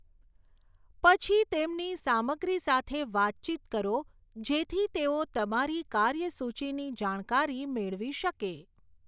પછી, તેમની સામગ્રી સાથે વાતચીત કરો જેથી તેઓ તમારી કાર્યસૂચીની જાણકારી મેળવી શકે.